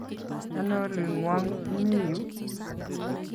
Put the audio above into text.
Ano oling'wong' imi yu?